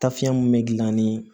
Tafiɲɛ mun be gilan ni